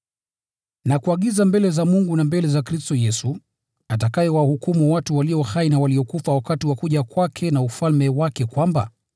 Nakuagiza mbele za Mungu na mbele za Kristo Yesu, atakayewahukumu watu walio hai na waliokufa wakati wa kuja kwake na ufalme wake, kwamba: